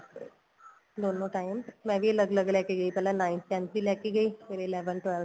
ਦੋਨੋ time ਮੈਂ ਵੀ ਅੱਲਗ ਅੱਲਗ ਲੈਕੇ ਗਈ ਪਹਿਲਾਂ nine tenth ਦੀ ਲੈਕੇ ਗਈ ਫੇਰ eleventh twelfth